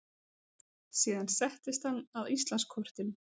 Síðan settist hann að Íslandskortinu.